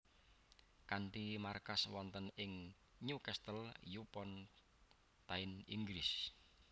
Kanthi markas wonten ing Newcastle upon Tyne Inggris